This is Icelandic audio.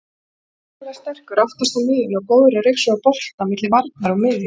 Hrikalega sterkur aftast á miðjunni og góður að ryksuga bolta milli varnar og miðju.